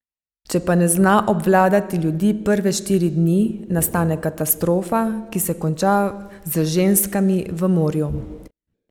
Če pa ne zna obvladati ljudi prve štiri dni, nastane katastrofa, ki se konča z ženskami v morju.